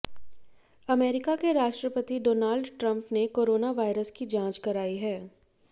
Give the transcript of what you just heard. America के राष्ट्रपति Donald Trump ने कोरोना वायरस की जांच कराई है